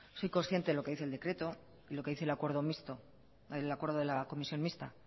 soy consciente lo que dice el decreto lo que dice el acuerdo mixto el acuerdo de la comisión mixta